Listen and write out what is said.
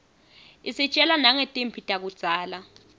isitjela nangetimphi takudzala